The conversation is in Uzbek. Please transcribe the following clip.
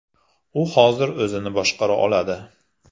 U hozir o‘zini boshqara oladi.